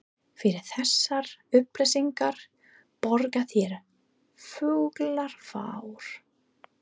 Fyrir þessar upplýsingar borga þeir fúlgur fjár.